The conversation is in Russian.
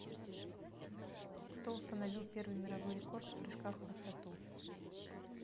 кто установил первый мировой рекорд в прыжках в высоту